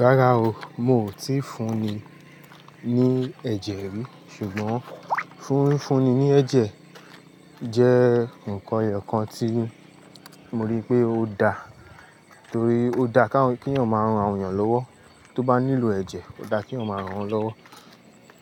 Rárá o, mo ò tí i fún ni ní ẹ̀jẹ̀ rí. Ṣùgbọ́n fúnfún ni ní ẹ̀jẹ̀ jẹ́ nǹkan eyokan tí mo rí pé ó daa. Torí ó daa kawon, keeyan maa rán àwọn èeyàn lọ́wọ́. Tó bá nílò ẹ̀jẹ̀, ó daa keeyan máa rán won lọ́wọ́.